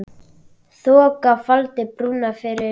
Þoka faldi brúna yfir Flóann.